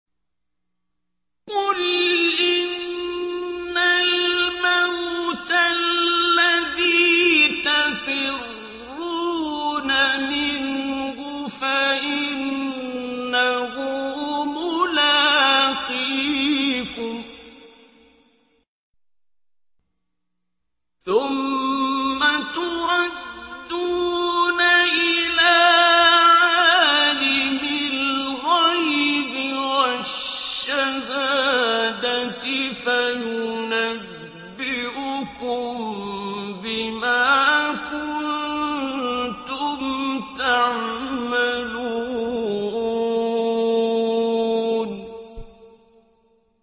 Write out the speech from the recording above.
قُلْ إِنَّ الْمَوْتَ الَّذِي تَفِرُّونَ مِنْهُ فَإِنَّهُ مُلَاقِيكُمْ ۖ ثُمَّ تُرَدُّونَ إِلَىٰ عَالِمِ الْغَيْبِ وَالشَّهَادَةِ فَيُنَبِّئُكُم بِمَا كُنتُمْ تَعْمَلُونَ